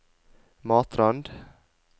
Matrand